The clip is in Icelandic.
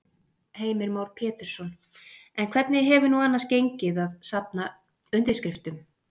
Heimir Már Pétursson: En hvernig hefur nú annars gengið að, að safna undirskriftum?